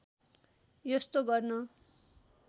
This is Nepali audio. यस्तो गर्न